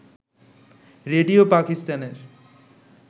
radio পাকিস্তানের